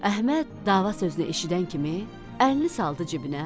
Əhməd dava sözünü eşidən kimi əlini saldı cibinə,